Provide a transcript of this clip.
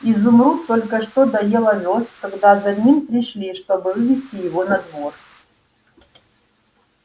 изумруд только что доел овёс когда за ним пришли чтобы вывести его на двор